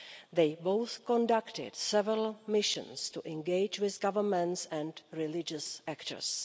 They both conducted several missions to engage with governments and religious actors.